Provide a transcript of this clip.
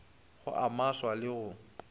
go a maswa le go